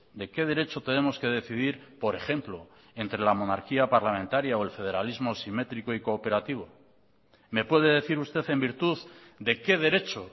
de qué derecho tenemos que decidir por ejemplo entre la monarquía parlamentaria o el federalismo simétrico y cooperativo me puede decir usted en virtud de qué derecho